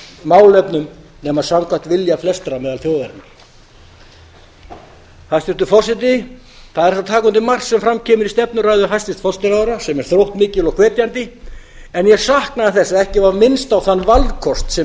málefnum nema samkvæmt vilja flestra meðal þjóðarinnar hæstvirtur forseti það er hægt að taka undir margt sem fram kemur í stefnuræðu hæstvirts forsætisráðherra sem er þróttmikil og hvetjandi en á saknaði þess að ekki var minnst á þann valkost sem